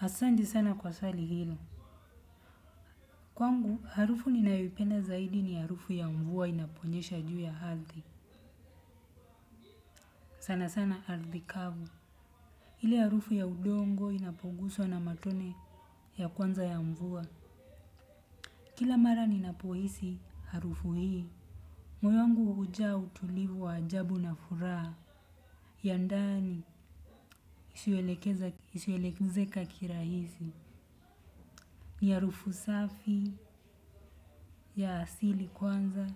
Asanti sana kwa swali hilo. Kwangu, harufu ninayoipenda zaidi ni harufu ya mvua inaponyesha juu ya hathi. Sana sana hathi kavu. Ile harufu ya udongo inapoguswa na matone ya kwanza ya mvua. Kila mara ninapohisi harufu hii. Moyo wangu uja utulivu wa ajabu na furaha. Yandani is elekezaka kirahisi. Ni harufu safi ya asili kwanza.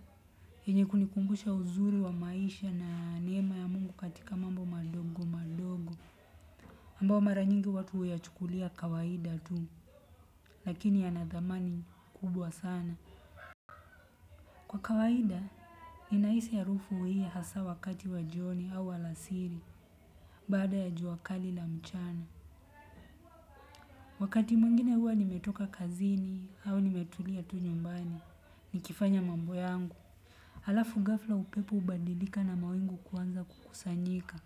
Enye kunikumbusha uzuri wa maisha na niema ya mungu katika mambo madogo madogo ambao maranyingi watu huyachukulia kawaida tu. Lakini yana damani kubwa sana. Kwa kawaida inaisi harufu hii hasa wakati wa joni au alasiri bada ya juakali la mchana. Wakati mungine hua nimetoka kazini au nimetulia tu nyumbani nikifanya mambo yangu. Alafu gafla upepo ubandilika na mawingu kuanza kukusanyika.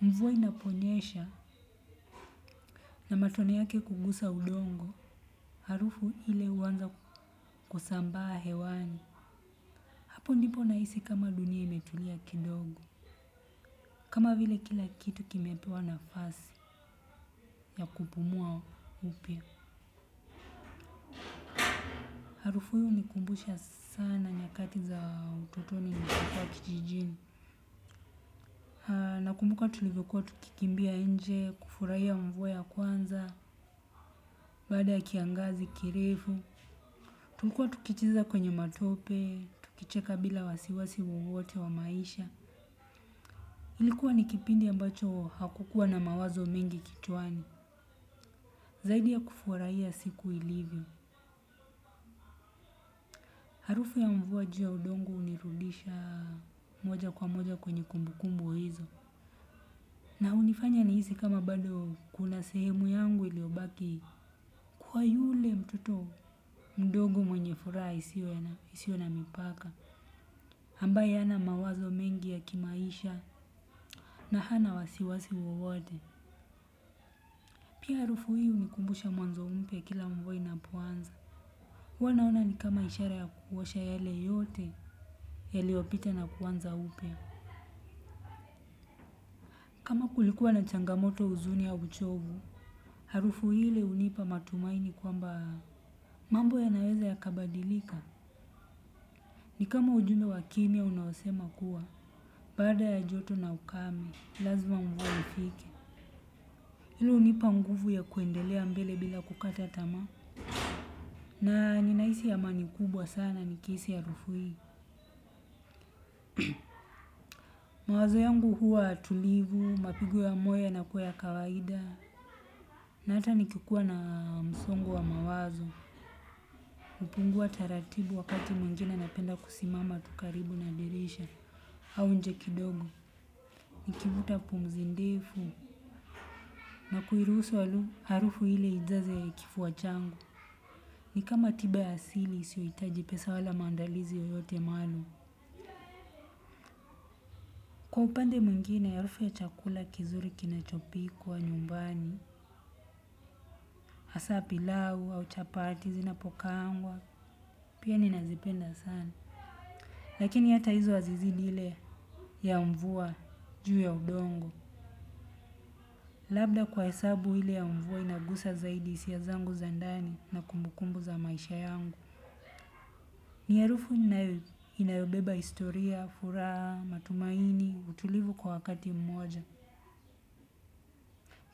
Mvuwa inaponyesha na matone yake kugusa udongo. Harufu ile uanza kusambaa hewani. Hapo ndipo naisi kama dunia imetulia kidogo. Kama vile kila kitu kimepewa nafasi ya kupumua upia. Harufu yuni kumbusha sana nyakati za ututoni na kutuwa kijijini. Nakumbuka tulivyo kuwa tukikimbia inje, kufuraia mvua ya kwanza, baada ya kiangazi kirefu. Tulkua tukicheza kwenye matope tukicheka bila wasi wasi wowote wa maisha ilikua ni kipindi ambacho hakukua na mawazo mengi kichwani. Zaidi ya kufuaraia siku ilivyo. Harufu ya mvua juu ya udongo unirudisha moja kwa moja kwenye kumbukumbu hizo. Na hunifanya niisi kama bado kuna sehemu yangu iliobaki kuwa yule mtoto mdogo mwenye furaa isio na mipaka. Hambaye hana mawazo mengi ya kimaisha na hana wasiwasi wawode. Pia harufu hii unikumbusha mwanzo mpya kila mvua inapoanza. Hua naona ni kama ishara ya kuosha yale yote yaloyopita na kuanza upya. Maku likuwa na changamoto uzuni au uchovu. Harufu hile unipa matumaini kwamba mambo ya naweza ya kabadilika. Ni kama ujumbe wa kimia unaosema kuwa. Baada ya joto na ukame. Lazma mvua ifike. Ilo unipa nguvu ya kwendelea mbele bila kukata tama. Na ninaisi amani kubwa sana nikiisi arufu hii. Mawazo yangu huwa tulivu, mapigo ya moyo yanakuwa ya kawaida. Na ata nikikuwa na msongo wa mawazo hupungua taratibu wakati mwingine napenda kusimama tu karibu na dirisha hau inje kidogo nkivuta pumzi ndefu. Na kuiruusu alu, harufu hile ijaze kifua changu. Ni kama tiba ya asili isioitaji pesa wala maandalizi yoyote maluu. Kwa upande mwingine arufu ya chakula kizuri kinachopikwa nyumbani. Asa pilau au chapati zinapokaangwa. Pia ninazipenda sana. Lakini ata hizo azizidi ile ya mvua juu ya udongo. Labda kwa hesabu ile ya mvua inagusa zaidi isia zangu za ndani na kumbukumbu za maisha yangu. Ni harufu ninayo inayo beba historia furaha matumaini utulivu kwa wakati mmoja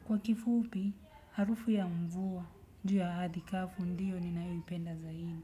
kwa kifupi harufu ya mvua juu ya athi kavu ndiyo ninayo ipenda zaidi.